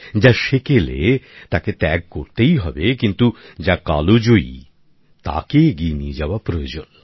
যা সেকেলে তাকে ত্যাগ করতেই হবে কিন্তু যা কালজয়ী তাকে এগিয়ে নিয়ে যাওয়া প্রয়োজন